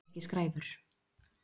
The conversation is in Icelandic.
Hann þoldi ekki skræfur.